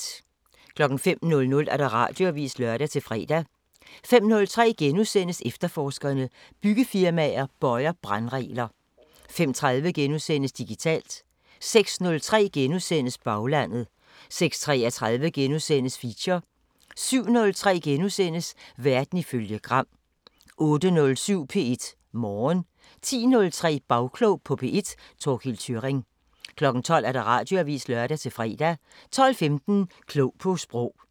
05:00: Radioavisen (lør-fre) 05:03: Efterforskerne: Byggefirmaer bøjer brandregler * 05:30: Digitalt * 06:03: Baglandet * 06:33: Feature * 07:03: Verden ifølge Gram * 08:07: P1 Morgen 10:03: Bagklog på P1: Thorkild Thyrring 12:00: Radioavisen (lør-fre) 12:15: Klog på Sprog